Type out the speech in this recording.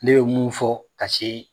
Ne ye mun fɔ ka se